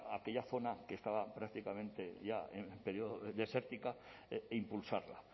aquellas zonas que estaba prácticamente ya desértica impulsarla